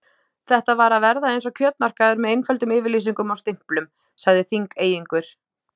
Þetta var að verða eins og kjötmarkaður með einföldum yfirlýsingum og stimplum, sagði Þingeyingur.